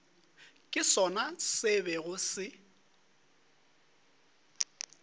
ke sona se bego se